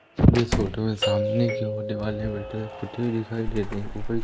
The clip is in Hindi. इस फोटो में सामने की ओर दीवालें पुती दिखाई दे रही --